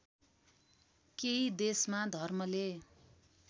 केही देशमा धर्मले